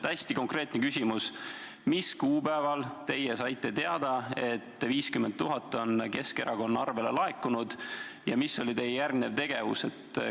Hästi konkreetne küsimus: mis kuupäeval teie saite teada, et 50 000 on Keskerakonna kontole laekunud, ja mis oli teie järgnev tegevus?